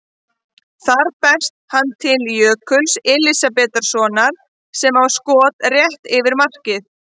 Þar berst hann til Jökuls Elísabetarsonar sem á skot rétt yfir markið.